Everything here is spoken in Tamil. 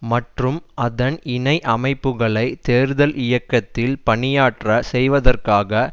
மற்றும் அதன் இணை அமைப்புக்களை தேர்தல் இயக்கத்தில் பணியாற்ற செய்வதற்காக